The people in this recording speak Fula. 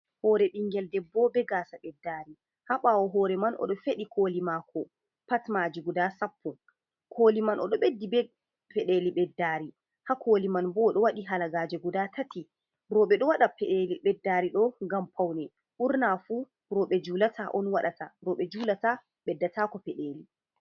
Hoore ɓingel debbo be gaasa ɓeddaari, ha ɓaawo hoore man, oɗo feɗi kooli maako pat maaji gudaa sappo, kooli man o ɗo ɓeddi be peɗeeli ɓeddaari ha kooli man, bo ɗo waɗi halagaaje gudaa tati, roɓe ɗo waɗa peɗeeli ɓeddaari ɗo ngam pawne. Ɓurna fu roɓe juulata on waɗata, roɓe juulata ɓeddataako peɗeeli.